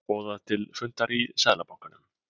Boðað til fundar í Seðlabankanum